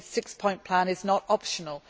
The six point plan is not optional.